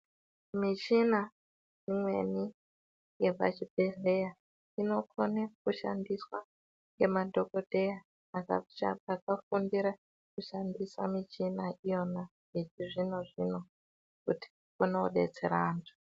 Michina imweni yepachibhedhlera inokona kushandiswa nemadhokodheya akafundira kushandisa michina iyona yechizvino zvino kuti aone kudetsera antu.